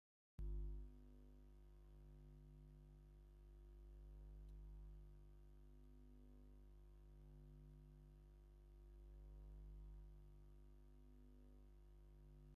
ኣብ መስጊድ ብዙሓት ሙስሊም ዓበይትን ኣንእሽትን ኮፍ ኢሎም ቁርኣን እንተንብቡ ን ክልተ ሓጅታት ድማ ማይክ ሒዞም ኣብ ምንፃፍ ኮፍ ኢሎም ኣለዉ ።